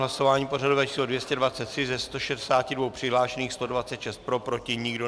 Hlasování pořadové číslo 223 - ze 162 přihlášených bylo 126 pro, proti nikdo.